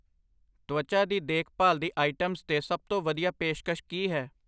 ਤਵਚਾ ਦੀ ਦੇਖ ਭਾਲ ਦੀ ਆਇਟਮਸ 'ਤੇ ਸਭ ਤੋਂ ਵਧੀਆ ਪੇਸ਼ਕਸ਼ ਕੀ ਹੈ?